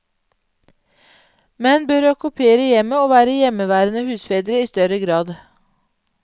Menn bør okkupere hjemmet og være hjemmeværende husfedre i større grad.